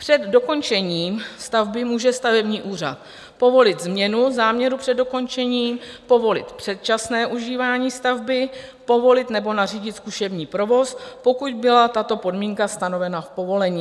Před dokončením stavby může stavební úřad povolit změnu záměru před dokončením, povolit předčasné užívání stavby, povolit nebo nařídit zkušební provoz, pokud byla tato podmínka stanovena v povolení.